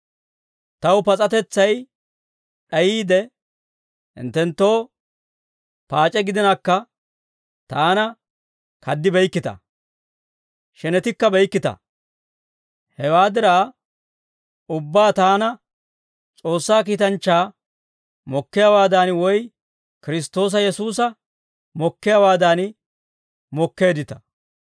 Taw pas'atetsay d'ayiide, hinttenttoo paac'e gidinakka, taana kad'ibeykkita; shenetikkabeykkita. Hewaa diraa ubbaa taana S'oossaa kiitanchchaa mokkiyaawaadan, woy Kiristtoosa Yesuusa mokkiyaawaadan mokkeeddita.